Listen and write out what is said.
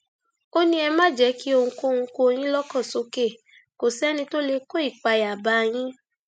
ó ní ẹ má ṣe jẹ kí ohunkóhun kó yín lọkàn sókè kó sẹni tó lè kó ìpayà bá yín